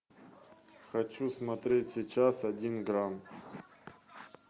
хочу смотреть сейчас один грамм